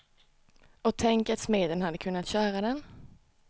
Och tänk att smeden hade kunnat köra den.